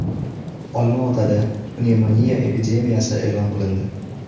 Olmaotada pnevmoniya epidemiyasi e’lon qilindi.